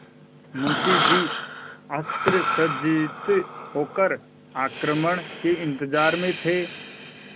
मुंशी जी अस्त्रसज्जित होकर आक्रमण के इंतजार में थे